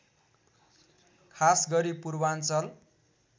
खासगरी पूर्वाञ्चल